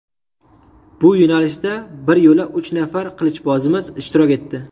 Bu yo‘nalishda bir yo‘la uch nafar qilichbozimiz ishtirok etdi.